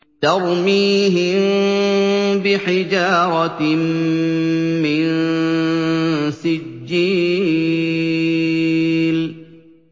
تَرْمِيهِم بِحِجَارَةٍ مِّن سِجِّيلٍ